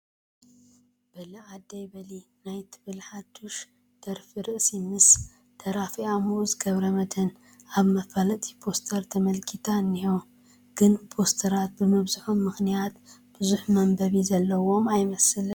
በሊ ዓደይ በሊ ናይ ትብል ሓዳሽ ደርፊ ርእሲ ምስ ደራፊኣ ምኡዝ ገብረመድህን ኣብ መፋለጢ ፖስተር ተመልኪታ እኒሆ፡፡ ግን ፖስተራት ብምብዝሖም ምኽንያት ብዙሕ መንበቢ ዘለዎም ኣይመስለንን፡፡